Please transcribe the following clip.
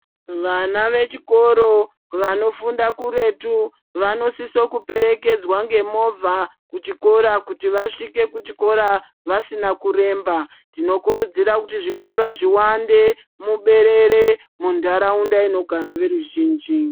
Vana vechikoro vanofunda kuretu, vanosisokuperekedzwa ngemovha kuchikora, kuti vasvike kuchikora vasina kuremba. Tinokurudzira kuti zvikora zviwande muberere muntaraunda inogara veruzvinji .